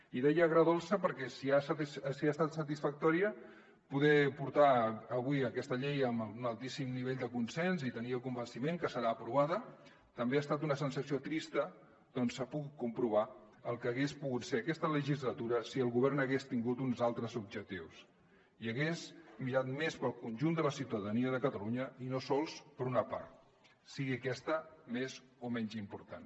i deia agredolça perquè si ha estat satisfactori poder portar avui aquesta llei amb un altíssim nivell de consens i tenir el convenciment que serà aprovada també ha estat una sensació trista perquè s’ha pogut comprovar el que hagués pogut ser aquesta legislatura si el govern hagués tingut uns altres objectius i hagués mirat més pel conjunt de la ciutadania de catalunya i no sols per una part sigui aquesta més o menys important